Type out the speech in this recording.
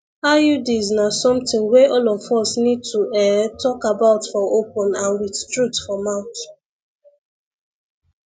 iuds na something wey all of us need to ehh talk about for open and with truth for mouth